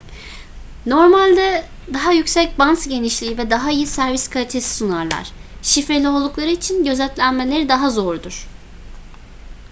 normalde daha yüksek bant genişliği ve daha iyi servis kalitesi sunarlar şifreli oldukları için gözetlenmeleri daha zordur